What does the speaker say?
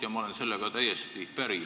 Ja ma olen sellega täiesti päri.